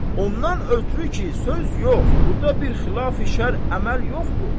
Ondan ötrü ki, söz yox, burda bir xilafi şərr əməl yoxdur.